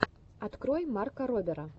открой марка робера